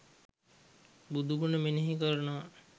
බුදුගුණ මෙනෙහි කරනවා.